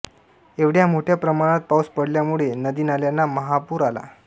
एवढ्या मोठ्या प्रमाणात पाऊस पडल्यामुळे नदीनाल्यांना महापूर आला